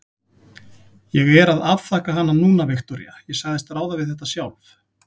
Ég er að afþakka hana núna, Viktoría, ég sagðist ráða við þetta sjálf.